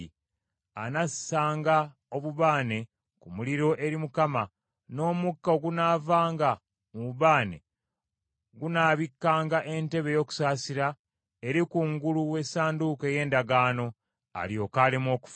Anassanga obubaane ku muliro eri Mukama , n’omukka ogunaavanga mu bubaane gunaabikkanga entebe ey’okusaasira eri kungulu w’Essanduuko ey’Endagaano, alyoke aleme okufa.